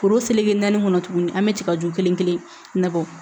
Foro naani kɔnɔ tuguni an bɛ tigaju kelen kelen na bɔ